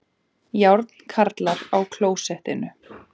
Járnkarlar á klósettinu